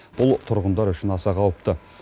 бұл тұрғындар үшін аса қауіпті